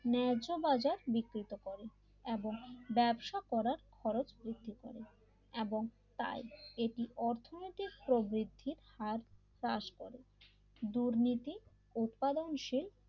ন্যায্যবাজার বিকৃত করে এবং ব্যবসা করার খরচ বৃদ্ধি করে এবং তাই এটি অর্থনৈতিক প্রবৃত্তির হার রাস করে দুর্নীতি উৎপাদনশীল